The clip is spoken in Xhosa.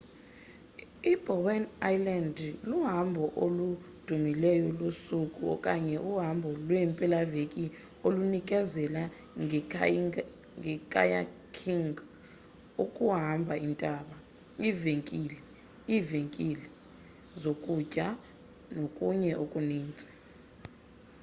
i-bowen island luhambo oludumileyo losuku okanye uhambo lweempelaveki olunikezela nge-kayaking ukuhamba intaba iivenkile iivenkile zokutyela nokunye okuninzi